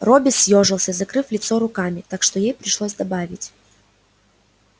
робби съёжился закрыв лицо руками так что ей пришлось добавить